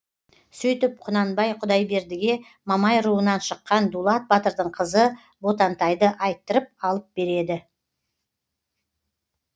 сөйтіп құнанбай құдайбердіге мамай руынан шыққан дулат батырдың қызы ботантайды айттырып алып береді